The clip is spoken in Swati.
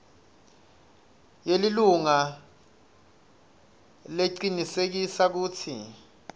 yelilunga lecinisekisa kutsi